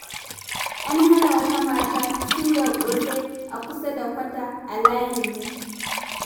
An hana wata mata suyar ƙosai a kusa da kwata a layinmu.